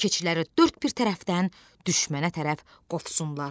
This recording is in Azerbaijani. Keçiləri dörd bir tərəfdən düşmənə tərəf qovsunlar.